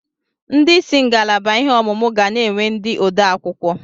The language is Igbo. Ndị isi ngalaba ihe ọmụmụ ga na-enwe ndị odeakwụkwọ.